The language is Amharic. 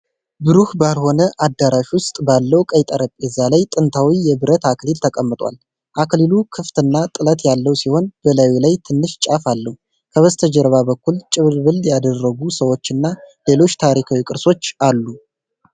ብሩህ ባልሆነ አዳራሽ ውስጥ ባለው ቀይ ጠረጴዛ ላይ ጥንታዊ የብረት አክሊል ተቀምጧል። አክሊሉ ክፍት እና ጥለት ያለው ሲሆን፣ በላዩ ላይ ትንሽ ጫፍ አለው። ከበስተጀርባ በኩል ጭንብል ያደረጉ ሰዎች እና ሌሎች ታሪካዊ ቅርሶችአለ።